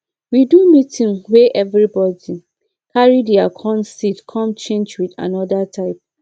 we do meeting wey everybody carry their corn seed corn change with another type